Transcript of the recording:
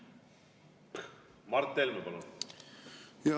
Mart Helme, palun!